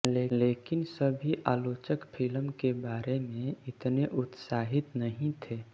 लेकिन सभी आलोचक फ़िल्म के बारे में इतने उत्साहित नहीं थे